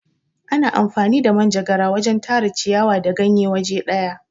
Ana amfani da manjegara wajen Tara ciyawa da ganye waje daya.